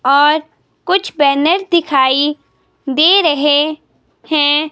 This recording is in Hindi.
और कुछ बैनर दिखाई दे रहे हैं।